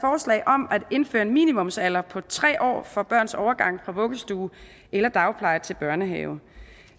forslag om at indføre en minimumsalder på tre år for børns overgang fra vuggestue eller dagpleje til børnehave